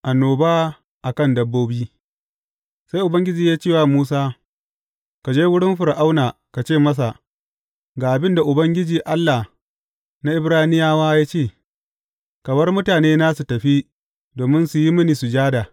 Annoba a kan dabbobi Sai Ubangiji ya ce wa Musa, Ka je wurin Fir’auna ka ce masa, Ga abin da Ubangiji Allah na Ibraniyawa ya ce, Ka bar mutanena su tafi, domin su yi mini sujada.